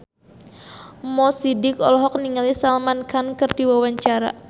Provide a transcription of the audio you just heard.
Mo Sidik olohok ningali Salman Khan keur diwawancara